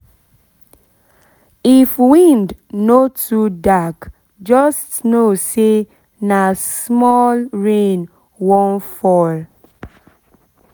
if wind no too dark just know say nah small rain um wan fall